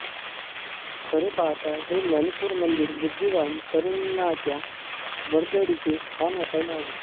खरे पाहता हे ज्ञानेश्वर मंदिर बुद्धिवान तरुणांच्या वर्दळीचे स्थान असायला हवे